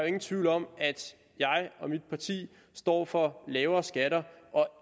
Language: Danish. ingen tvivl om at jeg og mit parti står for lavere skatter og